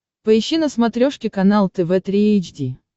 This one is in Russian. поищи на смотрешке канал тв три эйч ди